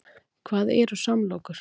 Hvað eru samlokur?